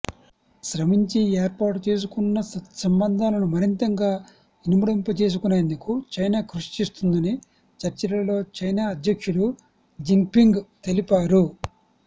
శ్రమించి ఏర్పాటు చేసుకున్న సత్సంబంధాలను మరింత గా ఇనుమడింపచేసుకునేందుకు చైనా కృషి చేస్తుందని చర్చలలో చైనా అధ్యక్షులు జిన్పింగ్ తెలిపారు